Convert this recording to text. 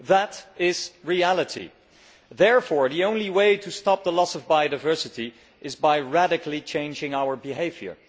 That is reality. Therefore, the only way to stop the loss of biodiversity is by radically changing our behaviour.